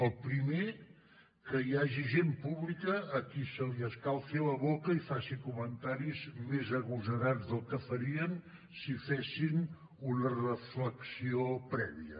el primer que hi hagi gent pública a qui se li escalfi la boca i faci comentaris més agosarats del que farien si fessin una reflexió prèvia